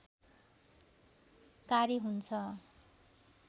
कार्य हुन्छ